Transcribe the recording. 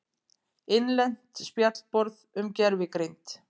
Innlent spjallborð um gervigreind.